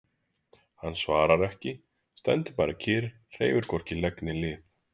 Hann svarar ekki, stendur bara kyrr, hreyfir hvorki legg né lið.